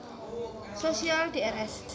Sosial Drs